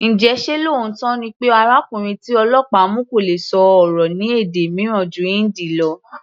Njẹ ṣé lóòótọ́ ni pé arákùnrin tí ọlọ́pàá mu kò lè sọ̀rọ̀ ní èdè mìíràn ju Hindi lọ?